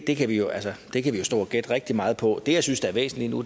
jo stå og gætte rigtig meget på det jeg synes er væsentligt nu